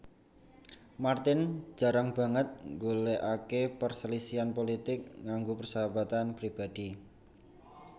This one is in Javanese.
Martin jarang banget ngolehake perselisihan pulitik ngganggu persahabatan pribadhi